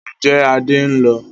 Ǹjẹ́ Adé ń lọ?